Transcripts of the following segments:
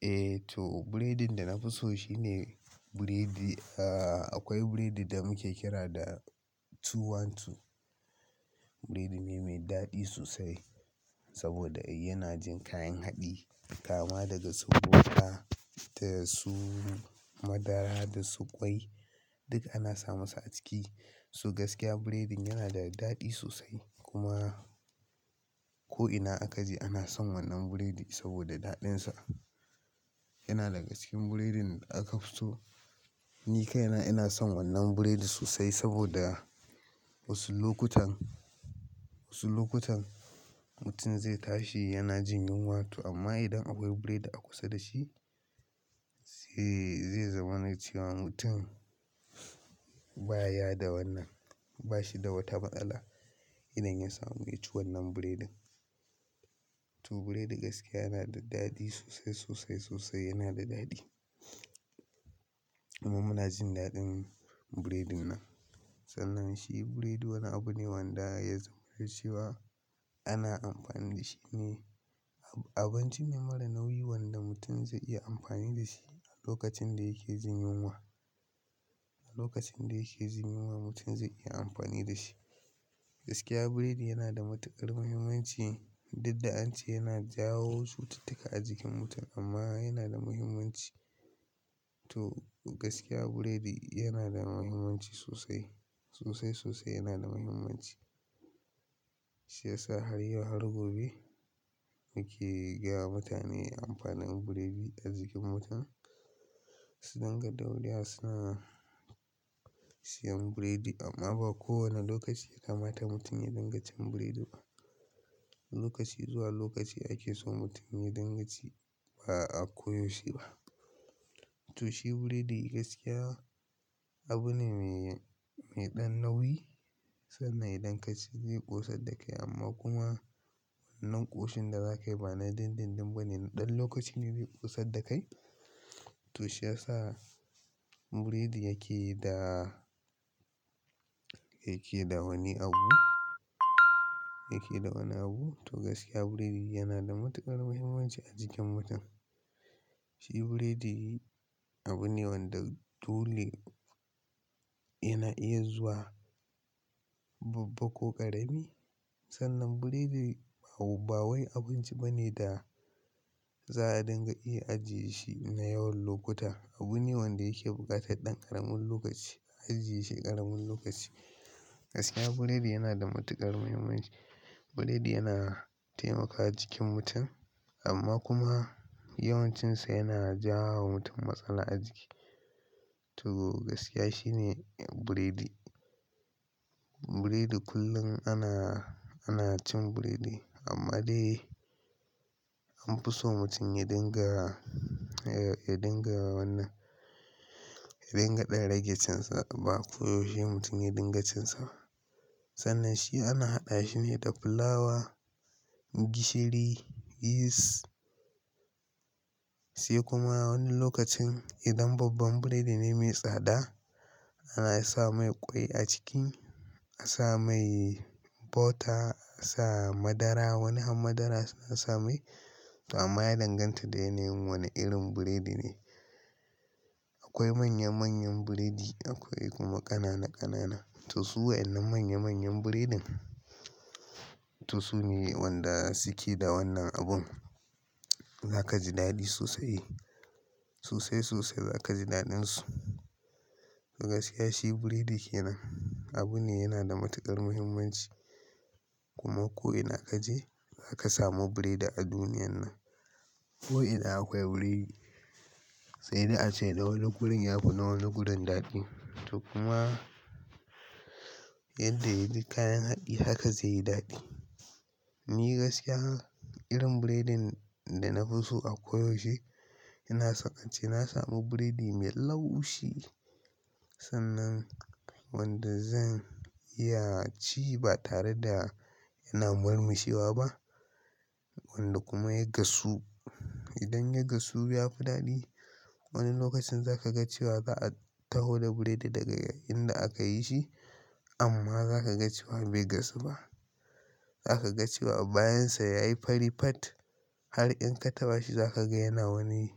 Eh to, biredin da na fi so shine, buredi da akwai burodi da muke kira da "two-one-two" Burodi me mai daɗi sosai, saboda yana jin kayan haɗi, kama daga su wuka, daya su madara, da su ƙwai, duk ana sa masa a ciki. To gaskiya biredin yana da daɗi sosai, kuma ko ina aka je ana son wannan buredin, saboda daɗinsa. Yana daga cikin biredin da aka fi so. Ni kai na, ina son wannan biredin sosai, saboda wasu lokutan, wasu lokutan, mutum zai tashi yana jin yunwa to amma idan akwai burodi a kusa da shi, ze, ze zama na cewa mutum ba ya da wannan, ba shi da wata matsala, idan ya samu ya ci wannan biredin. To, biredi gaskiya yana da daɗi sosai, sosai, sosai yana da daɗi. Kuma muna jin daɗin burodin nan. Sannan shi biredi wani abu ne wanda ya zama na cewa, ana amfani da shi ne, abinci ne mara nauyi wanda mutum zai iya amfani da shi a lokacin da yake jin yunwa, a lokacin da yake jin yunwa mutum zai iya amfani da shi. Gaskiya biredi yana da matuƙar muhimmanci, duk da an ce yana jawo cututtuka a jikin mutum amma yana da muhimmanci. To gaskiya burodi yana da muhimmanci sosai, sosai, sosai yana da muhimmanci. Shi yasa har yau har gobe, muke gaya wa mutane amfanin biredi a jikin mutum. Su ringa daure wa suna siyan biredi, amma ba kowane lokaci ya kamata mutum ya ringa cin biredi ba. Lokaci zuwa lokaci ake so mutum ya dinga ci ba'a koyaushe ba. To shi biredi gaskiya abu ne mai, mai ɗan nauyi, sannan idan ka ci zai ƙosadda kai amma kuma wannan ƙoshin da za ka yi ba na dindindin ba ne, ɗan lokaci ne zai ƙosadda kai. To, shi yasa biredi yake da, yake da wani abu, yake da wani abu. To gaskiya biredi yana da matuƙar muhimmanci a jikin mutum. Shi biredi abu ne wanda, dole yana iya zuwa babba ko ƙarami. Sannan biredi ba, ba wai abinci ba ne da za'a dinga iya ajiye shi na yawan lokuta. Abu ne wanda yake buƙatar ɗan ƙaramin lokaci, ajiye shi ƙaramin lokaci. Gaskiya burodi yana da matuƙar muhimmanci. Biredi yana taimakawa jikin mutum, amma kuma yawan cinsa yana jawo wa mutum matsala a jiki. To gaskiya shi ne burodi, biredi kullum ana, ana cin biredi amma dai an fi so mutum ya dinga, ya dinga wannan, ya dinga ɗan rage cin sa ba koyaushe mutum ya dinga cin sa ba. Sannan shi ana haɗa shi ne da fulawa, gishiri, yeast sai kuma wani lokacin idan babban biredi ne mai tsada, ana sa mai ƙwai a ciki, a sa mai butter, a sa madara, wani han madara suna sa mai. To, amma ya danganta da yanayin wane irin biredi ne. Akwai manya manyan burodi akwai kuma ƙanana ƙanana. To, su wayannan manya manyan biredin, to su ne wanda suke da wannan abun. Za ka ji daɗi sosai, sosai, sosai za ka ji daɗin su. To gaskiya shi biredi ke nan, abu ne yana da matuƙar muhimmanci, kuma ko ina aka je za ka samu biredi a duniyan nan. Ko ina akwai biredi. Sai dai a ce, na wani gurin ya fi na wani guri daɗi. To kuma, yadda yaji kayan haɗi haka zai yi daɗi. Ni gaskiya, irin biredin da na fi so a koyaushe, inaso a ce na samu biredi mai laushi. Sannan, wanda zan iya ci ba tare da yana murmushewa ba. Wanda kuma ya gasu. Idan ya gasu, ya fi daɗi. Wani lokacin za ka ga cewa za'a taho da biredi daga inda aka yi shi, amma za ka ga cewa bai gasu ba. Za ka ga cewa a bayan sa ya yi fari pat! Har in ka taɓa shi za ka ga yana wani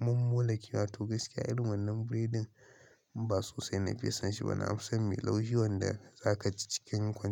mummula kewa. To gaskiya irin wannan biredin, ba sosai na fiye son shi ba, na fi son mai laushi wanda za ka ci cikin kwan.